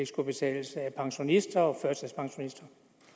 skulle betales af pensionister og førtidspensionister